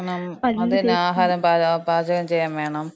അതന്നെ. ആഹാരം പാചകം ചെയ്യാവേണം.